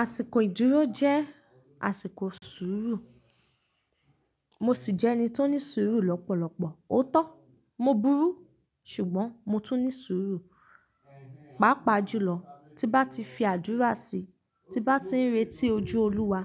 Àsìkò ìdúró jẹ́ àsìkò sùúrù. Mo sì jẹ́ ẹni tó ní sùúrù lọ́pọ̀lọpọ̀. Òótọ́ mo burú ṣùgbọ́n mo tún ní sùúrù. Pàápàá jùlọ ti bá ti fi àdúrà si, ti bá tí ń retí ojú Olúwa,